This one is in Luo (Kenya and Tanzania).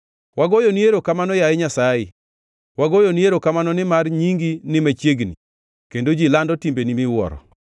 Wagoyoni erokamano, yaye Nyasaye, wagoyoni erokamano nimar Nyingi ni machiegni, kendo ji lando timbeni miwuoro.